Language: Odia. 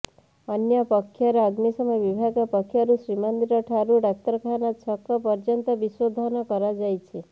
ଅନ୍ୟପକ୍ଷରେ ଅଗ୍ନିଶମ ବିଭାଗ ପକ୍ଷରୁ ଶ୍ରୀମନ୍ଦିର ଠାରୁ ଡାକ୍ତରଖାନା ଛକ ପର୍ଯ୍ୟନ୍ତ ବିଶୋଧନ କରାଯାଇଛି